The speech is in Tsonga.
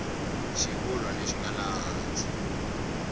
xivulwa lexi nga laha hansi